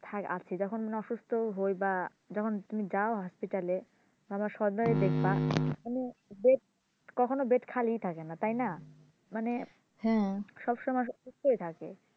থাক আছি যখন মানে অসুস্থ হই বা যখন তুমি যাও hospital এ তখন সদরে দেখবা মানুষ কখনো bed খালি থাকে না তাই না হ্যাঁ মানে সব সময় অসুস্থ হয়ে থাকে